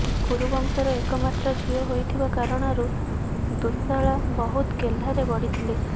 କୁରୁ ବଂଶର ଏକମାତ୍ର ଝିଅ ହୋଇଥିବା କାରଣରୁ ଦୁଃଶାଳା ବହୁତ ଗେହ୍ଲାରେ ବଢ଼ିଥିଲେ